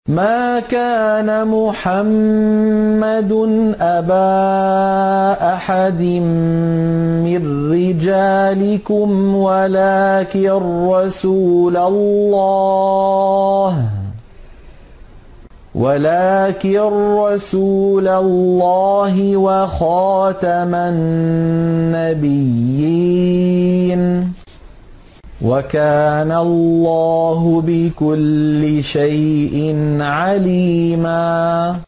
مَّا كَانَ مُحَمَّدٌ أَبَا أَحَدٍ مِّن رِّجَالِكُمْ وَلَٰكِن رَّسُولَ اللَّهِ وَخَاتَمَ النَّبِيِّينَ ۗ وَكَانَ اللَّهُ بِكُلِّ شَيْءٍ عَلِيمًا